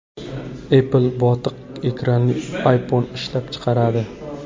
Apple botiq ekranli iPhone ishlab chiqaradi.